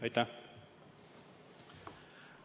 Aitäh!